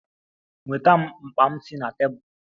Nweta m mkpa m si na tebụl!